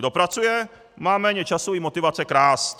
Kdo pracuje, má méně času i motivace krást.